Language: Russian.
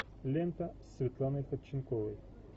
лента с светланой ходченковой